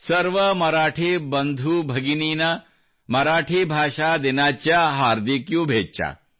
ಸರ್ವ ಮರಾಠಿ ಬಂಧು ಭಗಿನಿನಾ ಮರಾಠಿ ಭಾಷಾ ದಿನಾಚ್ಯಾ ಹಾರ್ದಿಕ್ ಶುಭೇಚ್ಚಾ